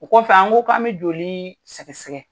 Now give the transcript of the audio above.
O kɔ kɔfɛ an ko k'an bɛ joli sɛgɛ sɛgɛ.